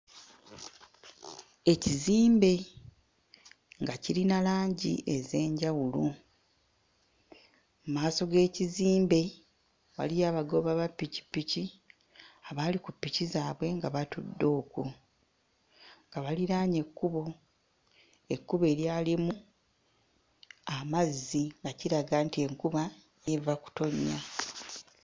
Ekizimbe nga kirina langi ez'enjawulo, mmaaso g'ekizimbe waliyo abagoba ba ppikippiki abaali ku ppiki zaabwe nga batudde okwo nga baliraanye ekkubo, ekkubo eryalimu amazzi nga kiraga nti enkuba eva kutonnya.